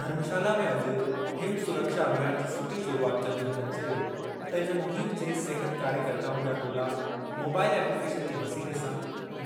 धर्मशाला में अॼु हिम सुरक्षा अभियान जी सुठी शुरूआति कंदे हुननि चयो त इन मुहिम जे सिहत कार्यकर्ताउनि जा टोला मोबाइल ऐप्लिकेशन जे वसीले सां